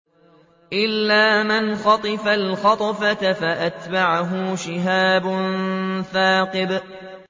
إِلَّا مَنْ خَطِفَ الْخَطْفَةَ فَأَتْبَعَهُ شِهَابٌ ثَاقِبٌ